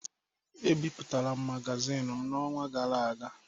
Ebipụtara m magazin m n’ọnwa gara aga.